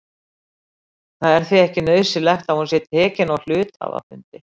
Það er því ekki nauðsynlegt að hún sé tekin á hluthafafundi.